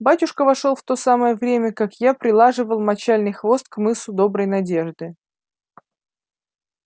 батюшка вошёл в то самое время как я прилаживал мочальный хвост к мысу доброй надежды